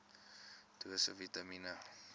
dosisse vitamien